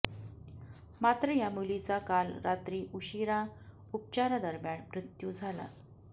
मात्र या मुलीचा काल रात्री उशिरा उपचारादरम्यान मृत्यू झाला